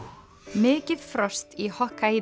mikið frost í